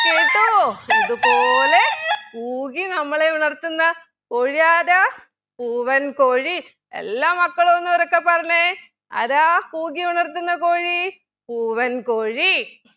കേട്ടോ ഇത് പോലെ കൂകി നമ്മളെ ഉണർത്തുന്ന കോഴിയാരാ പൂവൻ കോഴി എല്ലാ മക്കളും ഒന്നുറക്കെ പറഞ്ഞെ ആരാ കൂകി ഉണർത്തുന്ന കോഴി പൂവൻകോഴി